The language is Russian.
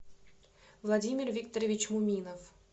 владимир викторович муминов